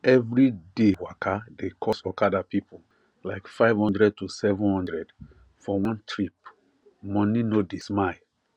everyday waka dey cost okada people like 500 to 700 for one trip money no dey smile